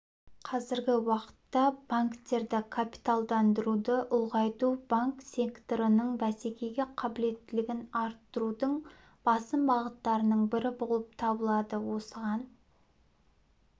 қазіргі уақытта банктерді капиталдандыруды ұлғайту банк секторының бәсекеге қабілеттілігін арттырудың басым бағыттарының бірі болып табылады осыған